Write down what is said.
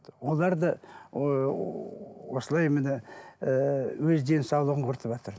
олар да осылай міне ііі өз денсаулығын құртыватыр